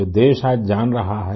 जो देश आज जान रहा है